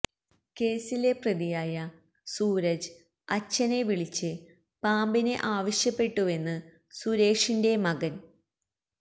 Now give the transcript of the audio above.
കേസിലെ പ്രതിയായ സൂരജ് അച്ഛനെ വിളിച്ച് പാമ്പിനെ ആവശ്യപ്പെട്ടുവെന്ന് സുരേഷിന്റെ മകൻ സ